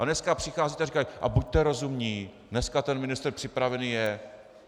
A dneska přicházíte a říkáte: A buďte rozumní, dneska ten ministr připravený je.